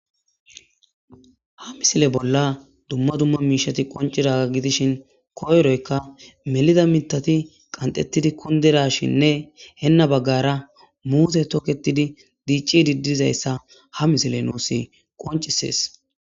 ha misile bolla dumma dumma miishati qoncidaa gidishin koyroyka melida mitati qantettidi kundirashinne henna baggara muuse toketidi diicci diddizayssa ha misile nuus qoncisees